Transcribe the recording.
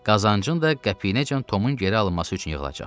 Qazancın da qəpiyinəcən Tomun geri alınması üçün yığılacaq.